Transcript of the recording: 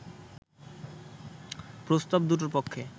প্রস্তাব দুটোর পক্ষে